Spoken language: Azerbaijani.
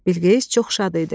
Bilqeyis çox şad idi.